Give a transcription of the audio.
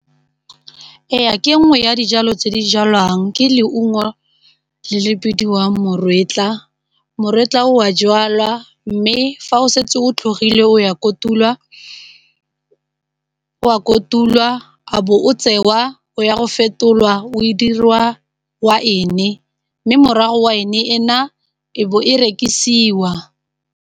Ee ke nngwe ya dijalo tse di jalwang ke leungo le le bidiwang moretlwa, moretlwa o a jalwa mme fa o setse o tlhogile o a kotulwa a bo o tsewa o ya go fetolwa o e dirwa waene mme morago waene ena e bo e rekisiwa.